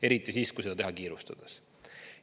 Eriti siis, kui seda teha kiirustades.